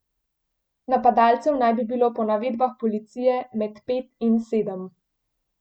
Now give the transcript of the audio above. Napadalcev naj bi bilo po navedbah policije med pet in sedem.